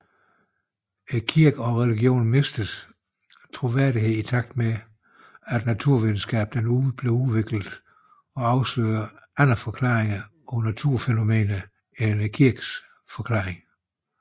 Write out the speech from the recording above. Kirken og religionen mistede troværdighed i takt med at naturvidenskaben udvikledes og afslørede andre forklaringer på naturfænomener end kirkens forklaringer